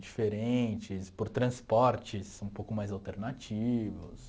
Diferentes, por transportes um pouco mais alternativos.